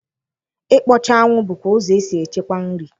Ịkpọcha anwụ bụkwa ụzọ e si echekwa nri.